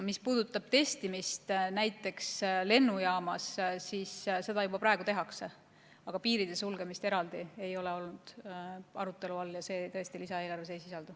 Mis puudutab testimist näiteks lennujaamas, siis seda tehakse juba praegu, aga piiride sulgemist eraldi ei ole arutelu all olnud ja seda tõesti lisaeelarves ei sisaldu.